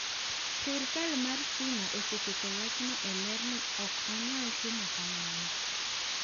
“Sirkal mar China oseketo wachno e ler ni ok onyal timo kamano